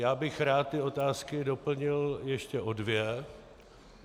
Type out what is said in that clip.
Já bych rád ty otázky doplnil ještě o dvě.